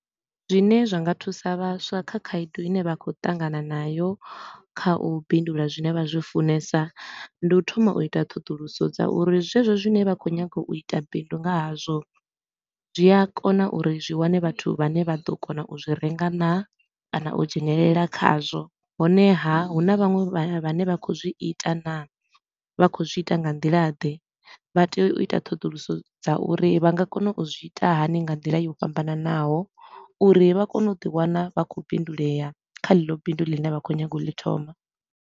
Zwine zwa nga thusa vhaswa kha khaedu i ne vha khou ṱangana nayo kha u bindula zwine vha zwi funesa, ndi u thoma u ita ṱhoḓuluso dza uri zwezwo zwine vha khou nyaga u ita bindu nga hazwo, zwi a kona uri zwi wane vhathu vhane vha ḓo kona u zwi renga naa kana u dzhenelela khazwo. Honeha, hu na vhaṅwe vhane vha khou zwi ita naa, vha khou zwi ita nga nḓila ḓe. Vha tea u ita ṱhoḓuluso dza uri vha nga kona u zwi ita hani nga nḓila yo fhambananaho uri vha kone u ḓi wana vha khou bindulea kha ḽeḽo bindu ḽine vha khou nyaga u ḽi thoma.